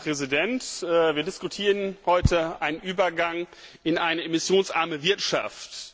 Herr Präsident! Wir diskutieren heute den Übergang in eine emissionsarme Wirtschaft.